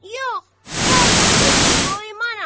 Yox, vallah heç qoymaram.